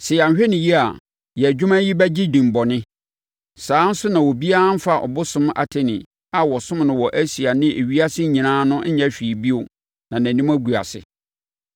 Sɛ yɛanhwɛ no yie a, yɛn adwuma yi bɛgye din bɔne. Saa ara nso na obiara remfa ɔbosom Artemi a wɔsom no wɔ Asia ne ewiase nyinaa no nyɛ hwee bio na nʼanim agu ase.”